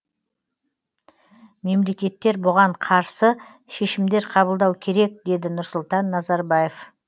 мемлекеттер бұған қарсы шешімдер қабылдау керек деді нұрсұлтан назарбаев